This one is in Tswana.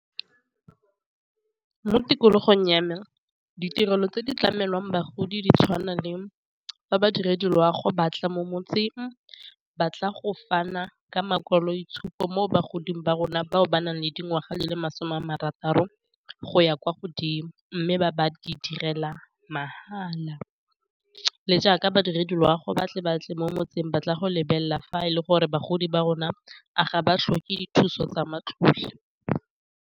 Mo tikologong ya me ditirelo tse di tlamelwang bagodi di tshwana le fa badiredi loago batla mo motseng, ba tla go fana ka makwalotshupo mo bagodi ba rona bao ba nang le dingwaga di le masome a marataro go ya kwa godimo, mme ba di direla mahala le jaaka badiredi loago batle batle mo motseng ba tla go lebelela fa e le gore bagodi ba rona a ga ba tlhoke dithuso tsa matlole.